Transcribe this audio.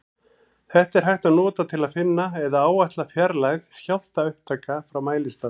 Þetta er hægt að nota til að finna eða áætla fjarlægð skjálftaupptaka frá mælistað.